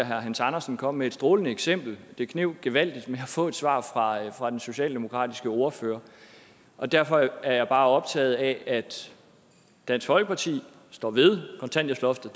herre hans andersen kom med et strålende eksempel det kneb gevaldigt med at få et svar fra den socialdemokratiske ordfører derfor er jeg bare optaget af at dansk folkeparti står ved kontanthjælpsloftet